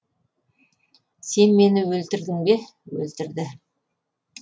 сен мені өлтірдің бе өлтірді